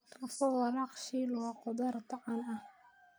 Tofu walaaq-shiil waa khudrad caan ah.